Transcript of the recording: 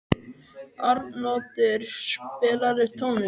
Arnoddur, spilaðu tónlist.